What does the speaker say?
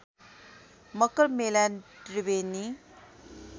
Makar Mela Triveni